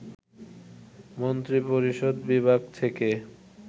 মন্ত্রিপরিষদ বিভাগ থেকে